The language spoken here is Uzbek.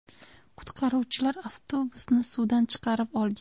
Qutqaruvchilar avtobusni suvdan chiqarib olgan.